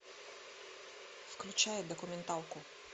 включай документалку